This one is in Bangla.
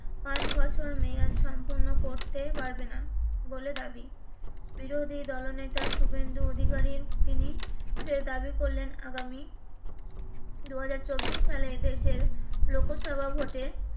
পাঁচ বছর মেয়াদ সম্পন্ন করতে পারবেনা বলে দাবি বিরোধী দলনেতা শুভেন্দু অধিকারী তিনি ফের দাবি করলেন আগামী দু হাজার চব্বিশ সালে এ দেশের লোকসভা ভোট এ